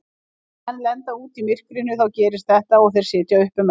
Þegar menn lenda úti í myrkrinu þá gerist þetta og þeir sitja uppi með það.